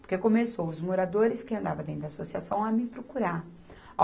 Porque começou os moradores que andavam dentro da associação a me procurar.